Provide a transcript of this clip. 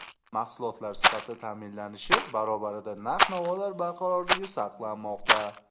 Mahsulotlar sifati ta’minlanishi barobarida narx-navolar barqarorligi saqlanmoqda.